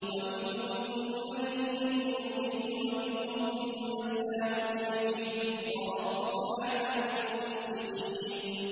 وَمِنْهُم مَّن يُؤْمِنُ بِهِ وَمِنْهُم مَّن لَّا يُؤْمِنُ بِهِ ۚ وَرَبُّكَ أَعْلَمُ بِالْمُفْسِدِينَ